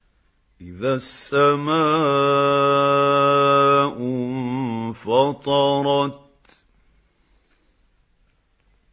إِذَا السَّمَاءُ انفَطَرَتْ